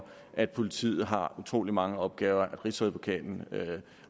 at politiet har utrolig mange opgaver at rigsadvokaten